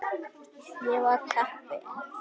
Ég var heppin.